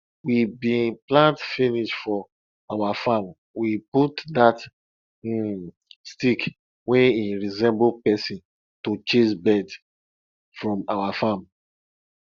we bin plant finish for our farm we put dat um stick wey im resemble person to chase birds from our farm